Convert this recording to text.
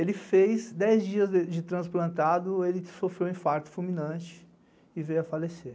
Ele fez dez dias de transplantado, ele sofreu um infarto fulminante e veio a falecer.